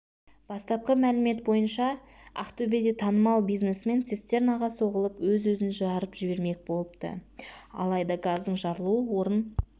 бастапқы мәлімет бойынша ақтөбеде танымал бизнесмен цистернаға соғылып өз-өзін жарып жібермек болыпты алайда газдың жарылуы орын